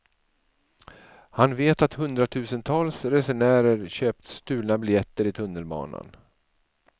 Han vet att hundratusentals resenärer köpt stulna biljetter i tunnelbanan.